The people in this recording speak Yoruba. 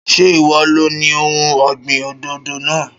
Ṣé ìwọ lo ni ohun ọ̀gbìn òdòdó náà?